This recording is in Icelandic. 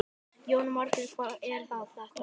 Jóhanna Margrét: Hvað er þetta?